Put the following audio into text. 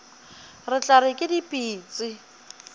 re tla re ke dipitsi